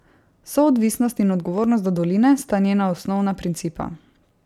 Soodvisnost in odgovornost do doline sta njena osnovna principa.